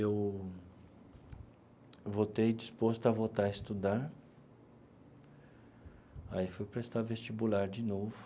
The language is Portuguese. Eu voltei disposto a voltar a estudar, aí fui prestar vestibular de novo,